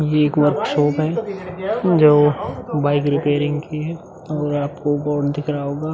ये एक वर्कशॉप है जो बाइक रिपेयरिंग की है और आपको बोर्ड दिख रहा होगा ।